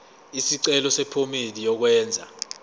isicelo sephomedi yokwenze